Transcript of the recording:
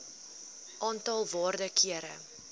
aantal waarde kere